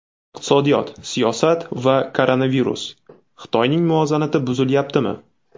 Iqtisodiyot, siyosat va koronavirus: Xitoyning muvozanati buzilyaptimi?.